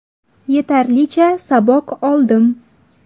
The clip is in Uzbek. Yetarlicha saboq oldim.